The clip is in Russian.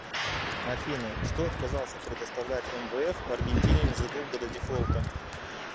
афина что отказался предоставлять мвф аргентине незадолго до дефолта